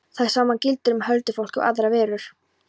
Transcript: Það sama gildir um huldufólkið og aðrar verur.